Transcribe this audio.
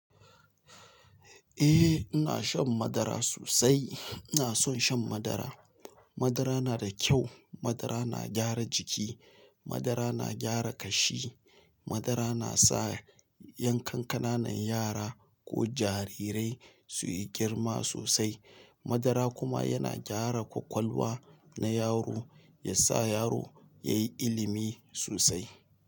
Eh ina shan madara sosai. Ina son shan madara. Madara na da kyau, madara na gyara jiki, madara na gyara kashi, madara na sa yan kankananan yara ko jarirai su yi girma sosai. Madara kuma yana gyara ƙwaƙwalwa na yaro yasa yaro yayi ilmi sosai.